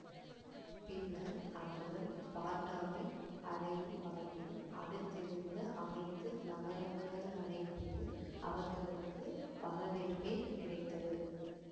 பின்னர் அவர்கள் ஸ்பார்ட்டாவை அடையும் வரைக்கும் அடுத்திருந்த அனைத்து நகரங்களனைதிலும் அவர்களுக்கு வரவேற்பே கிடைத்தது